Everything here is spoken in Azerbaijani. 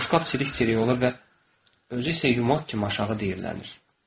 Boşqab çilik-çilik olur və özü isə yumaq kimi aşağı deyilərlənir.